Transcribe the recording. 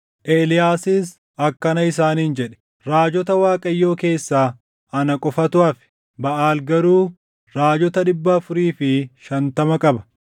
Eeliyaasis akkana isaaniin jedhe; “Raajota Waaqayyoo keessaa ana qofatu hafe; Baʼaal garuu raajota dhibba afurii fi shantama qaba.